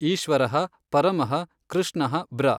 ಈಶ್ವರಃ ಪರಮಃ ಕೃಷ್ಣಃ ಬ್ರ.